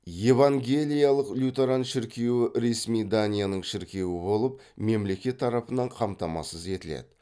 евангелиялық лютеран шіркеуі ресми данияның шіркеуі болып мемлекет тарапынан қамтамасыз етіледі